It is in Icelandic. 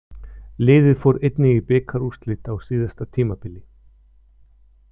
Liðið fór einnig í bikarúrslit á síðasta tímabili.